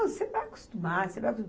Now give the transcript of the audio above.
Ah, você vai acostumar, você vai acostumar.